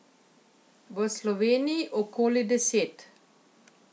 V Sloveniji okoli deset.